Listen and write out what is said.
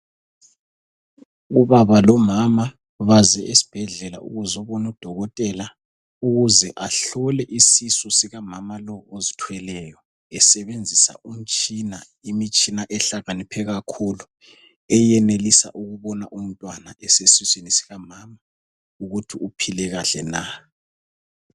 Ubaba lomama baze esibhedlela ukuzobona udokotela ukuze ahlole isisu sikamama lo ozithweleyo, esebenzisa umtshina. Imitshina ehlakaniphe kakhulu eyenelisa ukubona umntwana esesiswini sikamama, ukuthi uphile kahle na.